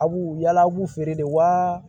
A b'u yala a b'u feere de wa